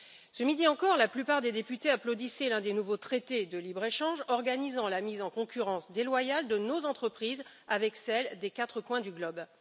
Ce midi encore, la plupart des députés applaudissaient l'un des nouveaux traités de libre échange organisant la mise en concurrence déloyale de nos entreprises avec celles des quatre coins du globe.